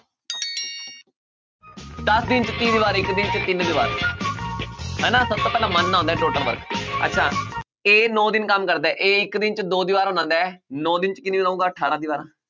ਦਸ ਦਿਨ 'ਚ ਤੀਹ ਦੀਵਾਰ ਇੱਕ ਦਿਨ 'ਚ ਤਿੰਨ ਦੀਵਾਰ ਹਨਾ ਸਭ ਤੋਂ ਮੰਨਣਾ ਹੁੰਦਾ ਹੈ total work ਅੱਛਾ a ਨੋਂ ਦਿਨ ਕੰਮ ਕਰਦਾ ਹੈ a ਇੱਕ ਦਿਨ 'ਚ ਦੋ ਦੀਵਾਰਾਂ ਬਣਾਉਂਦਾ ਹੈ ਨੋਂ ਦਿਨ 'ਚ ਕਿੰਨੀ ਬਣਾਊਗਾ ਅਠਾਰਾਂ ਦੀਵਾਰਾਂ